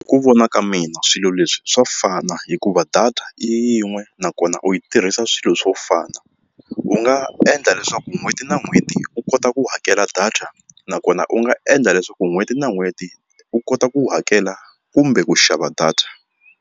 Ku vona ka mina swilo leswi swa fana hikuva data yin'we nakona u yi tirhisa swilo swo fana u nga endla leswaku n'hweti na n'hweti u kota ku hakela data nakona u nga endla leswaku n'hweti na n'hweti u kota ku hakela kumbe ku xava data.